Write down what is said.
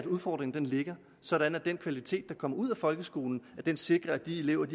udfordringen ligger sådan at den kvalitet der kommer ud af folkeskolen sikrer at de elever